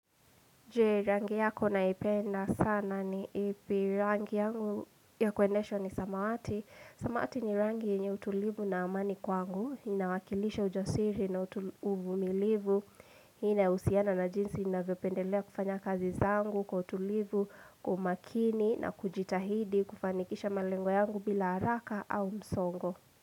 Je rangi yako unaipenda sana ni ipi? Rangi yangu ya kuendeshwa ni samawati. Samawati ni rangi yenye utulivu na amani kwangu. Inawakilisha ujasiri na uvumilivu. Inahusiana na jinsi ninavyopendelea kufanya kazi zangu kwa utulivu, kwa umakini na kujitahidi kufanikisha malengo yangu bila haraka au msongo.